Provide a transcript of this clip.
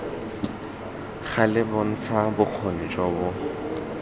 gale bontsha bokgoni jo bo